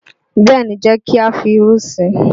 Bẹ́ẹ̀ ni, jẹ́ kí á fi irú sí i.